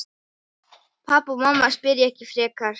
Pabbi og mamma spyrja ekki frekar.